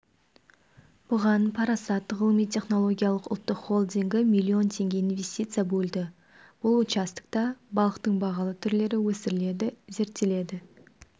бұған парасат ғылыми-технологиялық ұлттық холдингі млн теңге инвестиция бөлді бұл участокта балықтың бағалы түрлері өсіріледі зерттеледі